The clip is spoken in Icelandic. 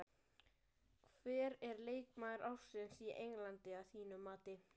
Hver er leikmaður ársins á Englandi að þínu mati?